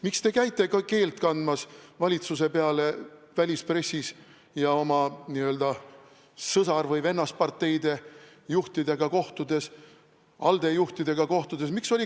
Miks te käite keelt kandmas valitsuse peale välispressis ja oma n-ö sõsar- või vennasparteide juhtidega kohtudes, ALDE juhtidega kohtudes?